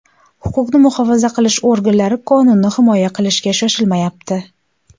Huquqni muhofaza qilish organlari qonunni himoya qilishga shoshilmayapti.